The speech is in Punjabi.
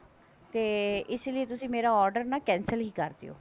ਤੇ ਇਸ ਲਈ ਤੁਸੀਂ ਮੇਰਾ order ਨਾ cancel ਹੀ ਕਰ ਦਿਉ